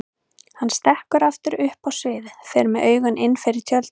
Hann stekkur aftur upp á sviðið, fer með augun innfyrir tjöldin.